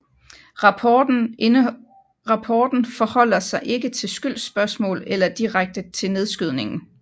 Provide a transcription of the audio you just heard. Rapporten forholder sig ikke til skyldsspørgsmål eller direkte til nedskydningen